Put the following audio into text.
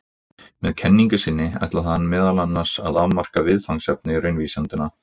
Með kenningu sinni ætlaði hann meðal annars að afmarka viðfangsefni raunvísindanna.